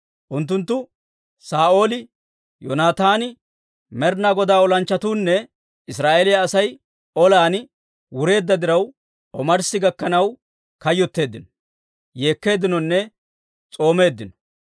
Unttunttu Saa'ooli, Yoonataani, Med'inaa Godaa olanchchatuunne Israa'eeliyaa Asay olan wureedda diraw, omarssi gakkanaw kayyotteeddino, yeekkeeddinonne s'oomeeddino.